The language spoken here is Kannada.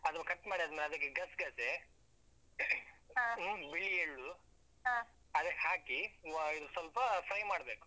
ಅದು cut ಮಾಡಿ ಆದ್ಮೇಲೆ, ಅದಕ್ಕೆ ಗಸ್ಗಸೆ ಬಿಳಿ ಎಳ್ಳು. ಅದಕ್ಕೆ ಹಾಕಿ ಅಹ್ ಸ್ವಲ್ಪ fry ಮಾಡ್ಬೇಕು.